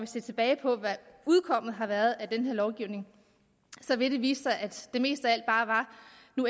se tilbage på hvad udkommet har været af den her lovgivning så vil det vise sig at det mest af